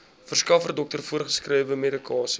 verskaffer dokter voorgeskrewemedikasie